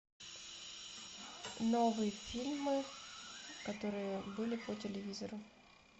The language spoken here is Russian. новые фильмы которые были по телевизору